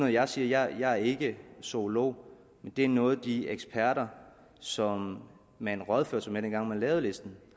jeg siger jeg er ikke zoolog men det er noget de eksperter som man rådførte sig med dengang man lavede listen